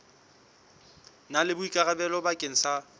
na le boikarabelo bakeng sa